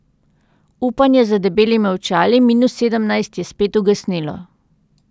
Upanje za debelimi očali minus sedemnajst je spet ugasnilo.